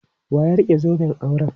Wa ya rike zoben auren?